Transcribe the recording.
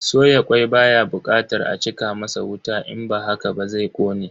Soya kwai baya bukatar a cika masa wuta in ba haka ba zai kone.